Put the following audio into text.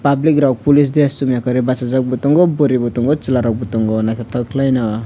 public rok police dress chumya karwi bachajak bo tongo bwrwi bo tongo chwla rok bo tongo naithotok khlaino.